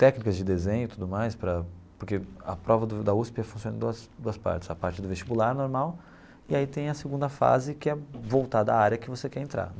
técnicas de desenho e tudo mais para, porque a prova da da USP funciona em duas duas partes, a parte do vestibular normal e aí tem a segunda fase que é voltada à área que você quer entrar.